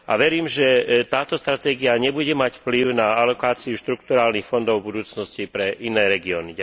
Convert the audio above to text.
A verím, že táto stratégia nebude mať vplyv na alokáciu štrukturálnych fondov v budúcnosti pre iné regióny.